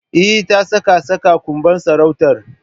Eh, ta saka saka kanbun sarautar.